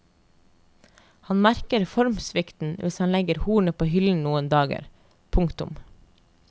Han merker formsvikten hvis han legger hornet på hyllen noen dager. punktum